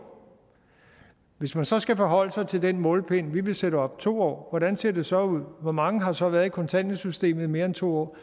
hvis man så skal forholde sig til den målepind vi vil sætte op nemlig to år hvordan ser det så ud hvor mange har så været i kontanthjælpssystemet i mere end to år